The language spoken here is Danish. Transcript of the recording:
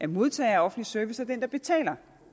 modtager af offentlig service og betaler